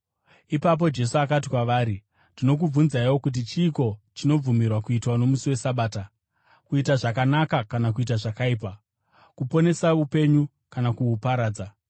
Ipapo Jesu akati kwavari, “Ndinokubvunzaiwo kuti chiiko chinobvumirwa kuitwa nomusi weSabata: kuita zvakanaka kana kuita zvakaipa, kuponesa upenyu kana kuhuparadza?”